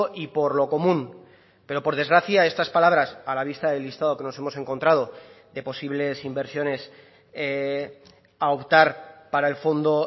y por lo común pero por desgracia estas palabras a la vista del listado que nos hemos encontrado de posibles inversiones a optar para el fondo